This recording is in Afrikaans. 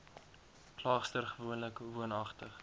klaagster gewoonlik woonagtig